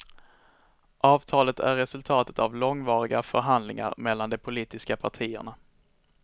Avtalet är resultatet av långvariga förhandlingar mellan de politiska partierna.